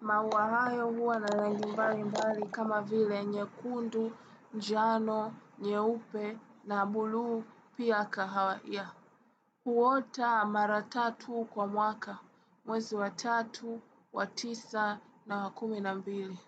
Maua hayo huwa na rangi mbali mbali kama vile nyekundu, njano, nyeupe, na buluu pia kahawaia. Huota mara tatu kwa mwaka, mwezi wa tatu, wa tisa, na wa kumi na mbili.